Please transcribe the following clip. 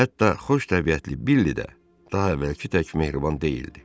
Hətta xoş təbiətli Billi də daha əvvəlki tək mehriban deyildi.